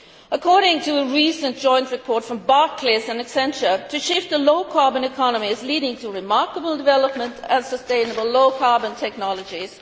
According to a recent joint report from Barclays and Accenture, the shift to a low carbon economy is leading to a remarkable development of sustainable low carbon technologies.